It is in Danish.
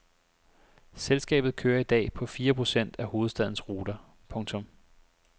Selskabet kører i dag på fire procent af hovedstadens ruter. punktum